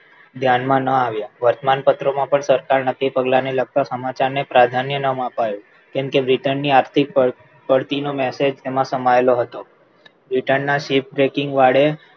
ધ્યાનમાં ના આવ્યા વર્તમાન પત્રમાં પણ સરકાર નક્કી પગલાં ને લગતા સમાચાર ને પ્રાધાન્ય નામ અપાયું કેમકે britain ની આર્થિક પડતી નો મેસેજ તેમાં સમાયેલો હતો britain ની ship breaking વાડે